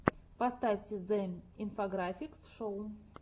поставь зе инфографикс шоу